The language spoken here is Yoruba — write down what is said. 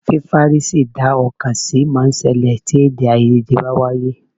Fífárí sí dá ọ̀kan sí máa ń ṣẹlẹ̀ tí èdè-áiyedé bá ń wáyé.